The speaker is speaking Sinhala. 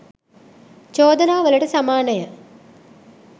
චෝදනාවලට සමානය.